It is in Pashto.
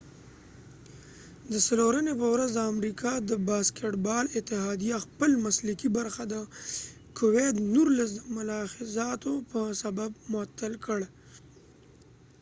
د څلورنی په ورځ د امریکا د باسکټ بال اتحادیه خپل مسلکې برخه د کوويد 19 د ملاحظاتو په سبب معطل کړ